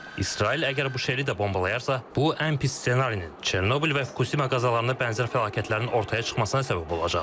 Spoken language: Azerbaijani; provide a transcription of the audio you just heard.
İsrail əgər Buşeri də bombalayarsa, bu ən pis ssenarinin Çernobıl və Fukuşima qəzalarına bənzər fəlakətlərin ortaya çıxmasına səbəb olacaq.